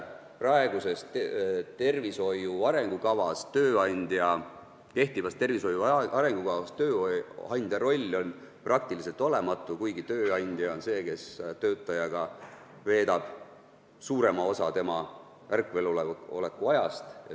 Praeguses tervishoiu arengukavas on tööandja roll peaaegu olematu, kuigi tööandja on see, kes veedab töötajaga suurema osa selle ärkveloleku ajast.